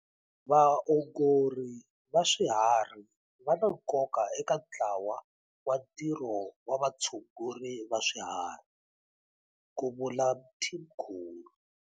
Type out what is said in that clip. Vaongori va swiharhi va na nkoka eka ntlawa wa ntirho wa vatshunguri va swiharhi, ku vula Mthimkhulu.